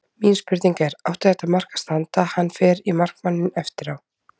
Mín spurning er: Átti þetta mark að standa, hann fer í markmanninn eftir á?